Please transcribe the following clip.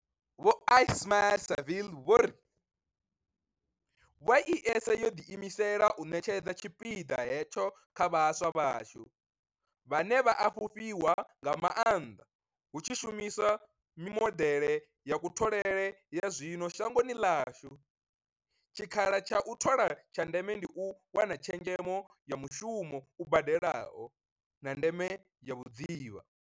Vho Ismail-Saville vho ri, YES yo ḓiimisela u ṋetshedza tshipiḓa hetsho kha vhaswa vhashu, vhane vha a fhufhiwa nga maanḓa hu tshi shumiswa mimodeḽe ya kutholele ya zwino shangoni ḽashu, tshikhala tsha u thoma tsha ndeme ndi u wana tshezhemo ya mushumo u badelaho, na ndeme ya vhudzivha.